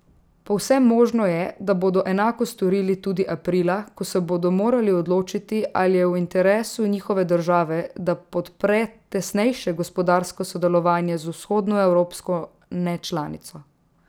Povsem možno je, da bodo enako storili tudi aprila, ko se bodo morali odločiti, ali je v interesu njihove države, da podpre tesnejše gospodarsko sodelovanje z vzhodnoevropsko nečlanico.